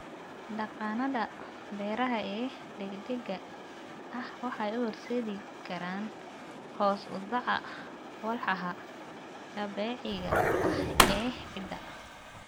Dhaqannada beeraha ee degdega ah waxay u horseedi karaan hoos u dhaca walxaha dabiiciga ah ee ciidda.